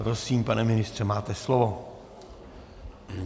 Prosím, pane ministře, máte slovo.